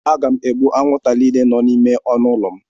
Aga m egbu anwụnta niile nọ n'ime ọnụ ụlọ m.